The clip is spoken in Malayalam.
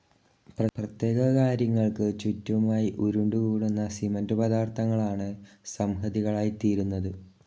പ്രത്യേക കാര്യങ്ങൾക്കു ചുറ്റുമായി ഉരുണ്ടുകൂടുന്ന സിമൻ്റു പദാർഥങ്ങളാണ് സംഹതികളായിത്തീരുന്നത്.